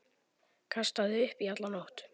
Kastaði upp í alla nótt.